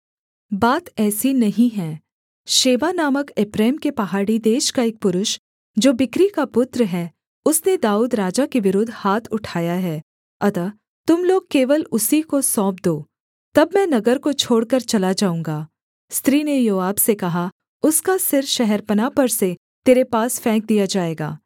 बात ऐसी नहीं है शेबा नामक एप्रैम के पहाड़ी देश का एक पुरुष जो बिक्री का पुत्र है उसने दाऊद राजा के विरुद्ध हाथ उठाया है अतः तुम लोग केवल उसी को सौंप दो तब मैं नगर को छोड़कर चला जाऊँगा स्त्री ने योआब से कहा उसका सिर शहरपनाह पर से तेरे पास फेंक दिया जाएगा